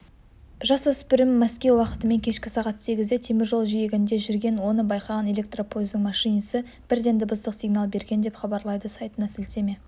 жасөспірім мәскеу уақытымен кешкі сағат сегізде теміржол жиегінде жүрген оны байқаған электропойыздың машинисі бірден дыбыстық сигнал берген деп хабарлайды сайтына сілтеме